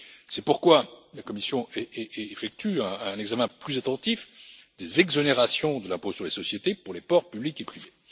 C'est pourquoi la Commission effectue un examen plus attentif des exonérations de l'impôt sur les sociétés pour les ports publics et privés.